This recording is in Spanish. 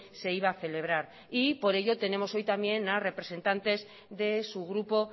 se iba a celebrar y por ello tenemos hoy también a representantes de su grupo